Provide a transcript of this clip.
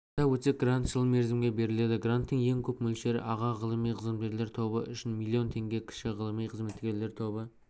атап өтсек грант жыл мерзімге беріледі гранттың ең көп мөлшері аға ғылыми қызметкерлер тобы үшін миллион теңге кіші ғылыми қызметкерлер тобы